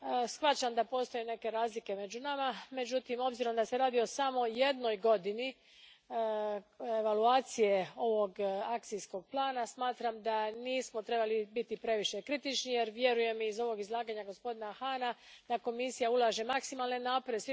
Shvaćam da postoje neke razlike među nama, međutim, s obzirom na to da se radi o samo jednoj godini evaluacije ovog akcijskog plana, smatram da nismo trebali biti previše kritični jer vjerujem iz ovog izlaganja gospodina Hahna da Komisija ulaže maksimalne napore.